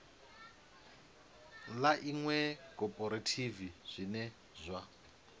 ḽa iṅwe khophorethivi zwine zwa